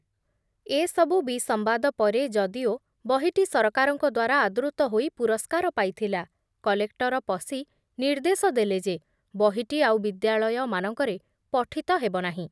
ଏ ସବୁ ବିସମ୍ବାଦ ପରେ, ଯଦିଓ ବହିଟି ସରକାରଙ୍କ ଦ୍ବାରା ଆଦୃତ ହୋଇ ପୁରସ୍କାର ପାଇଥିଲା, କଲେକ୍ଟର ପସି ନିର୍ଦ୍ଦେଶ ଦେଲେ ଯେ ବହିଟି ଆଉ ବିଦ୍ୟାଳୟମାନଙ୍କରେ ପଠିତ ହେବ ନାହିଁ ।